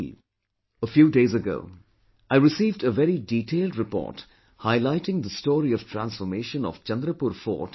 A few days ago I received a very detailed report highlighting the story of transformation of Chandrapur Fort in Maharashtra